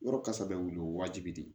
Yɔrɔ kasa bɛ wuli o ye waajibi de ye